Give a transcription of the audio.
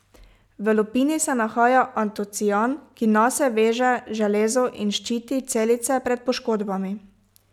V lupini se nahaja antocian, ki nase veže železo in ščiti celice pred poškodbami.